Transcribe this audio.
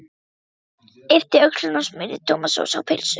Örn yppti öxlum og smurði tómatsósu á pylsu.